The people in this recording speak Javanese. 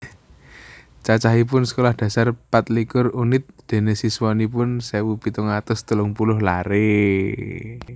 Cacahipun Sekolah Dasar patlikur unit dene siswanipun sewu pitung atus telung puluh lare